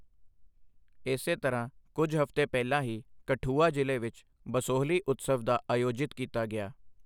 ਇਸੇ ਤਰ੍ਹਾਂ ਕੁਝ ਹਫ਼ਤੇ ਪਹਿਲਾਂ ਹੀ ਕਠੂਆ ਜ਼ਿਲ੍ਹੇ ਵਿੱਚ ਬਸੋਹਲੀ ਉਤਸਵ ਦਾ ਆਯੋਜਿਤ ਕੀਤਾ ਗਿਆ।